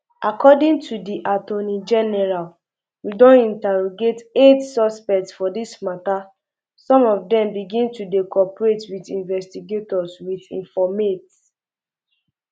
according to di attorney um general we don interrogate eight suspects for dis mata some of dem begin to dey cooperate wit investigators wit informate